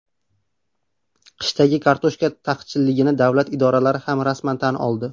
Qishdagi kartoshka taqchilligini davlat idoralari ham rasman tan oldi.